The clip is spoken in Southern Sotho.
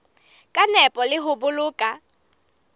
ka nepo le ho boloka